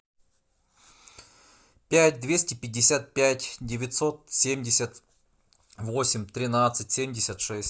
пять двести пятьдесят пять девятьсот семьдесят восемь тринадцать семьдесят шесть